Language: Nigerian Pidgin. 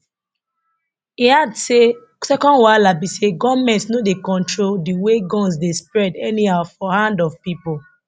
e add say second wahala be say goment no dey control di way guns dey spread anyhow for hand of pipo